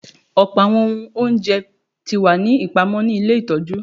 Pupọ awọn ohun ounjẹ ti wa ni ipamọ ni ile itọju